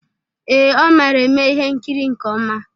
Ee, ọ mara eme ihe nkiri nke ọma.